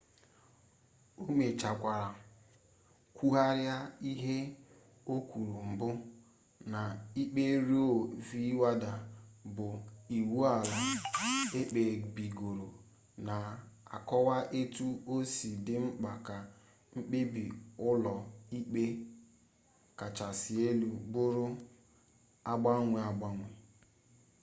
o mechekwara kwugharịa ihe o kwuru mbụ na ikpe roe v wade bụ iwu ala ekpebigoro na-akọwa etu o si dị mkpa ka mkpebi ụlọ ikpe kachasị elu bụrụ agbanwe agbanwe